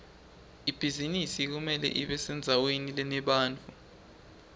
ibhizinisi kumele ibesendzaweni lenebantfu